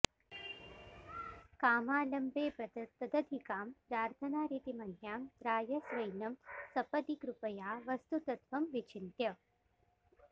कामालम्बे बत तदधिकां प्रार्थनारीतिमन्यां त्रायस्वैनं सपदि कृपया वस्तुतत्त्वं विचिन्त्य